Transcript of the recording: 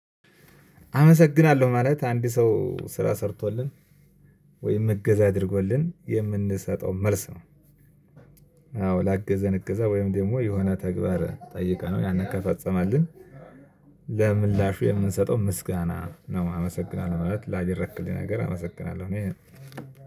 አመሰግናለሁ ማለት አንድ ሰው ስራ ሰርቶልን ወይም እገዛ አድርጎልን የምንሰጠው መልስ ነው። አዎ ላገዘን እገዛ ወይም ደግሞ የሆነ ተግባር ጠይቀናል ያንን ከፈፀመልን። ለምላሹ የምንሰጠው ምስጋና ነው። አመሰግናለሁ ማለት ላደረክልኝ ነገር አመሰግናለሁ እኔ